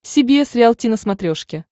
си би эс риалти на смотрешке